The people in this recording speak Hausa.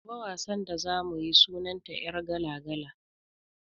Gobe wasan da za mu yi sunan ta "yargala-gala".